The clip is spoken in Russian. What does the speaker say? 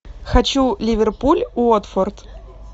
хочу ливерпуль уотфорд